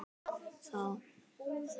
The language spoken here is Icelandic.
Þá þagnaði allt alveg.